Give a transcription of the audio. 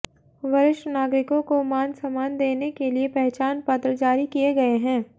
वरिष्ठ नागरिकों को मानसमान देने के लिए पहचान पत्र जारी किए गए हैं